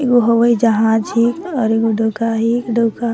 ए गो हवाई जहाज हे और एगो डोका हे डोका --